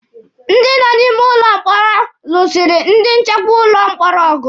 Ndị nọ n'ime ụlọ mkpọrọ lụsịrị ndi nchekwa ụlọ mkpọrọ ọgụ